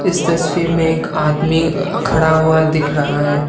इस तस्वीर में एक आदमी अह खड़ा हुआ दिख रहा है।